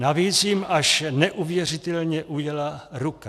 Navíc jim až neuvěřitelně ujela ruka.